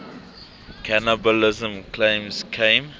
cannibalism claims came